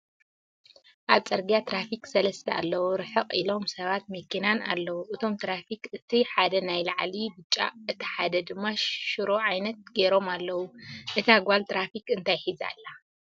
ኣብ ፅርግያ ትራፊክ ሰለስተ አለዉ ርሕቅ ኢሎም ሰባትን መኪናን አለዉ እቶም ትራፊክ እት ሓደ ናይ ላዕሊ ቢጫ እት ሓደ ድማ ሽሮ ዓይነት ጌሮም አለዉ እታ ጋል ትራፊክ እንታይ ሒዛ ኣላ ?